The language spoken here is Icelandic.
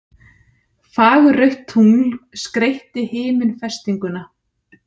Fagurrautt tungl skreytti himinfestinguna